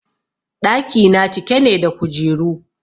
ɗaki na cike ne da kujeru